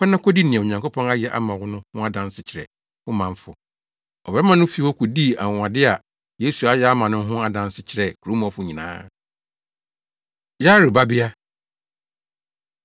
“Kɔ na kodi nea Onyankopɔn ayɛ ama wo no ho adanse kyerɛ wo manfo.” Ɔbarima no fii hɔ kodii anwonwade a Yesu ayɛ ama no no ho adanse kyerɛɛ kurom hɔfo nyinaa. Yairo Babea